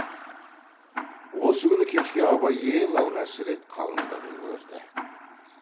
осы күні кешке абай ең алғаш рет қалыңдығын көрді